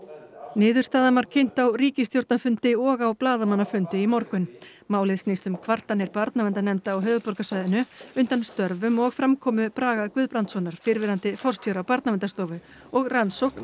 niðurstaðan var kynnt á ríkisstjórnarfundi og á blaðamannafundi í morgun málið snýst um kvartanir barnaverndarnefnda á höfuðborgarsvæðinu undan störfum og framkomu Braga Guðbrandssonar fyrrverandi forstjóra Barnaverndarstofu og rannsókn